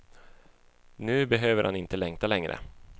Nu behöver han inte längta längre.